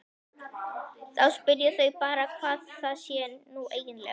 Þá spyrja þau bara hvað það sé nú eiginlega.